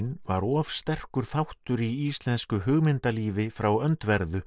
var of sterkur þáttur í íslensku frá öndverðu